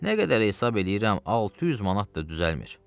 nə qədər hesab eləyirəm, 600 manat da düzəlmir.